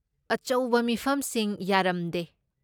ꯑꯆꯧꯕ ꯃꯤꯐꯝꯁꯤꯡ ꯌꯥꯔꯝꯗꯦ ꯫